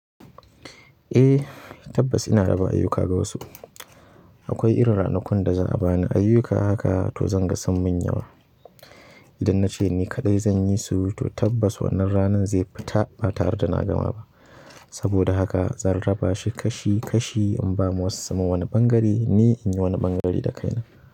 Eh tabbas ina raba ayyuka ga wasu. Akwai irin ranakun da za a ba ni ayyuka haka to zan ga sun mun yawa. Idan na ce ni kaɗai zan yi su to tabbas wannan ranan zai fita ba tare da na gama ba. Saboda haka zan raba shi kashi kashi in ba ma wasu. Sumun wani ɓangare ni in yi wani ɓangare da kaina.